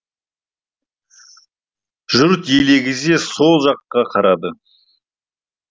жұрт елегізе со жаққа қарады